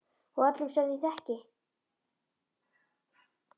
Og af öllum sem ég þekki.